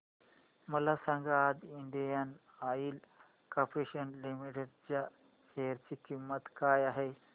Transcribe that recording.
मला सांगा आज इंडियन ऑइल कॉर्पोरेशन लिमिटेड च्या शेअर ची किंमत काय आहे